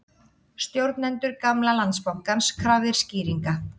Stjórnendur gamla Landsbankans krafðir skýringa